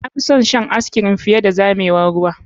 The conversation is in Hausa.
Na fi son shan ice cream fiye da zamewar ruwa.